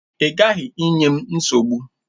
Ị gaghị enye m nsogbu!